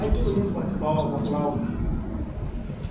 Aí todo mundo bate palma, aplaude.